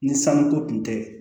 Ni sanuko tun tɛ